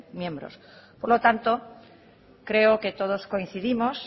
miembros por lo tanto creo que todos coincidimos